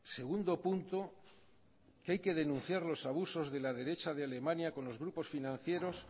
segundo punto que hay que denunciar los abusos de la derecha de alemania con los grupos financieros